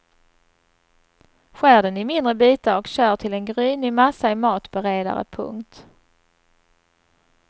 Skär den i mindre bitar och kör till en grynig massa i matberedare. punkt